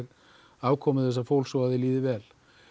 afkomu þessa fólks og að því líði vel